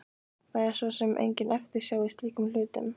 Það er svo sem engin eftirsjá í slíkum hlutum.